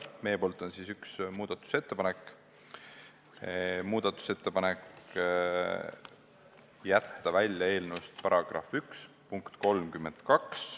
Meie poolt on üks muudatusettepanek: ettepanek jätta eelnõust välja § 1 punkt 32.